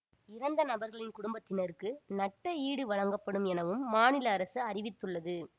இறந்த நபர்களின் குடும்பத்தினருக்கு நட்ட ஈடு வழங்கப்படும் எனவும் மாநில அரசு அறிவித்துள்ளது